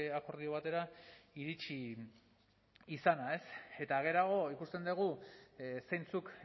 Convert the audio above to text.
akordio batera iritsi izana eta geroago ikusten dugu zeintzuk